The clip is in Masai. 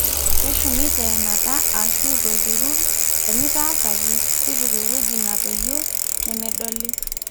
keshumi teenata ashu aiturrur ,enitaasa ake, tipika ewueji natoyio nemedoli